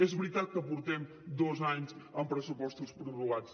és veritat que portem dos anys amb pressupostos prorrogats